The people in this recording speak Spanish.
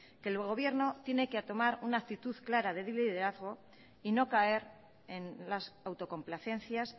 que el gobierno tiene que tomar una actitud clara de liderazgo y no caer en las autocomplacencias